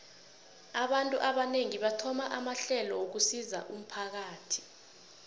abantu abanengi bathoma amahlelo wokusizo umphakathi